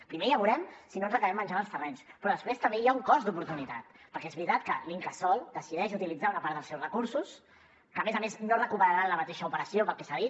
primer ja veurem si no ens acabem menjant els terrenys però després també hi ha un cost d’oportunitat perquè és veritat que l’incasòl decideix utilitzar una part dels seus recursos que a més a més no recuperarà en la mateixa operació pel que s’ha dit